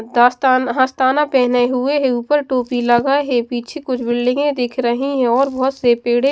दास्तान हास्ताना पहने हुए है ऊपर टोपी लगाए है पीछे कुछ बिल्डिंगें दिख रही हैं और बहुत से पेड़े --